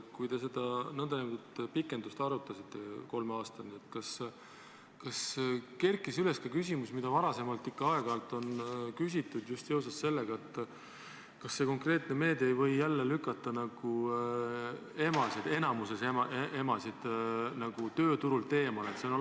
Kui te seda nn pikendust arutasite kolme aastani, kas kerkis üles ka küsimus, mida varem ikka on aeg-ajalt küsitud, just seoses sellega, et see konkreetne meede võib äkki jälle lükata enamiku emasid tööturult eemale?